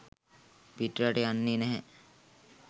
පිටරට යන්නේ නැහැ